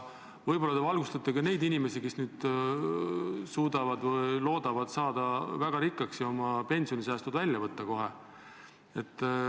Võib-olla te valgustaksite ka neid inimesi, kes loodavad saada väga rikkaks ja võtavad oma pensionisäästud välja kohe.